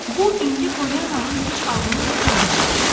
Bu indi Poliannanın heç ağlının ucundan da keçmir.